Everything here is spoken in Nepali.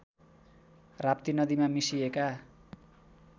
राप्ती नदीमा मिसिएका